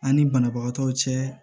An ni banabagatɔw cɛ